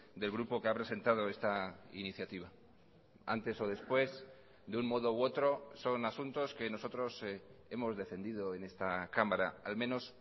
del grupo que ha presentado esta iniciativa antes o después de un modo u otro son asuntos que nosotros hemos defendido en esta cámara al menos